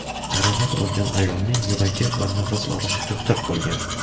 Jarohat olgan ayolning yuragi va nafas olishi to‘xtab qolgan.